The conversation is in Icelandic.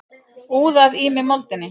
Úðað í mig moldinni.